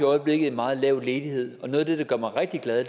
øjeblikket en meget lav ledighed og noget af det der gør mig rigtig glad